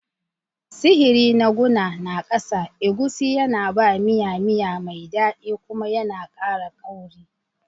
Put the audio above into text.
Sihiri na guna na ƙasa, egusi, yana ba miya miya mai daɗi kuma yana ƙara kauri.